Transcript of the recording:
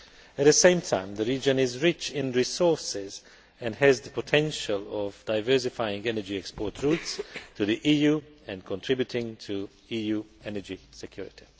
At the same time the region is rich in resources and has the potential of diversifying energy export routes to the EU and contributing to EU energy security.